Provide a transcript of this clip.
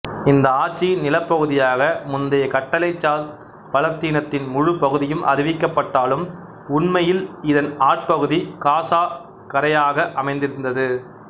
இந்த ஆட்சியின் நிலப்பகுதியாக முந்தைய கட்டளைசார் பலத்தீனத்தின் முழு பகுதியும் அறிவிக்கப்பட்டாலும் உண்மையில் இதன் ஆட்பகுதி காசா கரையாக அமைந்திருந்தது